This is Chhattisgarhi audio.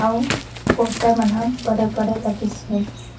अऊ पोस्टर मन ह बड़े - बड़े लघिसे।